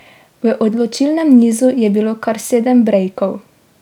V odločilnem nizu je bilo kar sedem brejkov.